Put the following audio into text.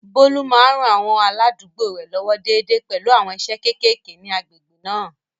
Bólú máa ń ran àwọn aládùúgbò rẹ̀ lọ́wọ́ déédéé pẹ̀lú àwọn iṣẹ́ kéékèèké ní agbègbè náà